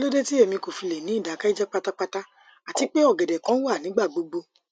kilode ti emi kò fi le ni idakẹjẹ patapata ati pe ọgẹdẹ kan wa nigbagbogbo